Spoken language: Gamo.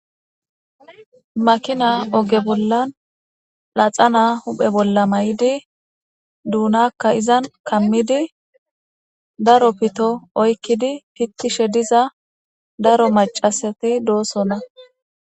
Makina oge bollan laxana huphe bolla may7idi duunakka izan kammidi daro pito oykkidi pittishe diza daro macasati doosonna